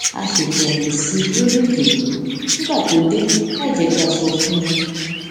a ṣètò àyè sí i lórí ìjokòó nígbà tó dé láìjé pé a sọ fún un